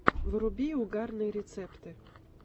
вруби угарные рецепты